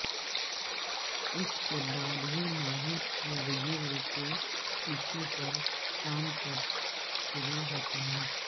اس کے بعد ہی ماہر ارد گرد کے ٹشو پر کام کر شروع ہوتا ہے